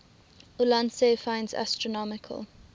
ulansey finds astronomical